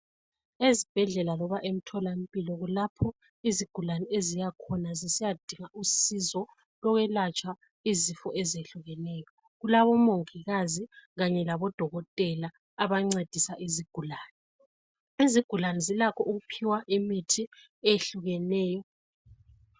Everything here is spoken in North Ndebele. Ezibhedlela loba emtholampilo kulapho izigulane eziyakhona zisiyadinga usizo lokwelatshwa izifo ezehlukeneyo. Kulabomongokazi kanye labodokotela abancedisa izigulane. Izigulane zilakho ukuphiwa imithi eyehlukeneyo.